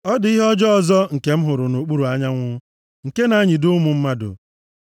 Ọ dị ihe ọjọọ ọzọ nke m hụrụ nʼokpuru anyanwụ, nke na-anyịdo ụmụ mmadụ.